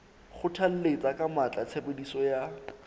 kgothalletsa ka matla tshebediso ya